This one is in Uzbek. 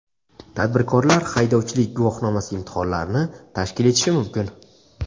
Tadbirkorlar haydovchilik guvohnomasi imtihonlarini tashkil etishi mumkin.